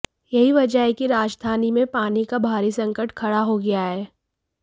यही वजह है कि राजधानी में पानी का भारी संकट खड़ा हो गया है